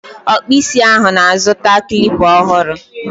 Ọkpụ isi ahụ na-azụta Klipa ọhụrụ